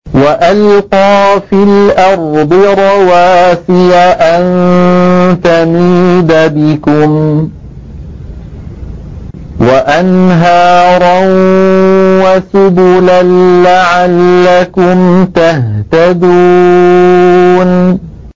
وَأَلْقَىٰ فِي الْأَرْضِ رَوَاسِيَ أَن تَمِيدَ بِكُمْ وَأَنْهَارًا وَسُبُلًا لَّعَلَّكُمْ تَهْتَدُونَ